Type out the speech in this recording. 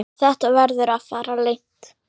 Þetta verður að fara leynt!